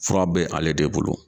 Fura bɛ ale de bolo.